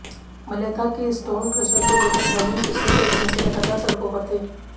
मलेथा के stone crusher को लेकर ग्रामीण पिछले कई दिनों से लगातार सड़कों पर थे